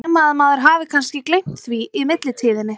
Nema að maður hafi kannski gleymt því í millitíðinni?